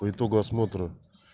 по итогу осмотра